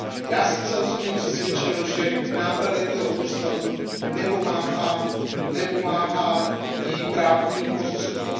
Já jsem se osobně přesvědčil, že k nápravě tohoto stavu nepomáhají právní prostředky.